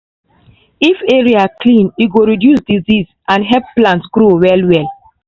if area clean e go reduce disease and help plant grow well well.